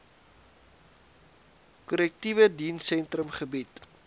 korrektiewe dienssentrum gebied